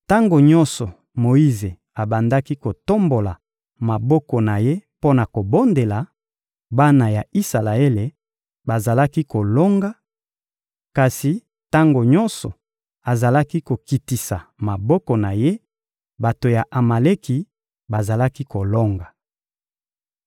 Tango nyonso Moyize abandaki kotombola maboko na ye mpo na kobondela, bana ya Isalaele bazalaki kolonga; kasi tango nyonso azalaki kokitisa maboko na ye, bato ya Amaleki bazalaki kolonga.